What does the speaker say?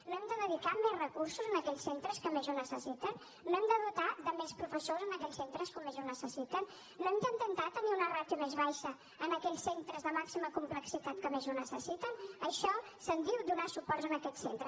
no hem de dedicar més recursos a aquells centres que més ho necessiten no hem de dotar de més professors a aquells centres que més ho necessiten no hem d’intentar tenir una ràtio més baixa en aquells centres de màxima complexitat que més ho necessiten d’això se’n diu donar suport a aquests centres